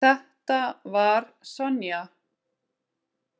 Þetta var Sonja.